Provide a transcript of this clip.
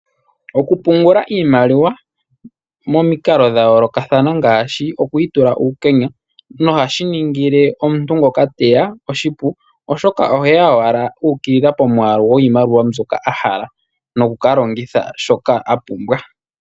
Okupungula iimaliwa momikalo dha yoolokathana ngaashi okuyitula uukenya nohashi ningile omuntu ngoka teya oshipu oshoka oheya owala uukilila pomwaalu gwiimaliwa mbyoka a hala nokukalongitha shoka a pumbwa.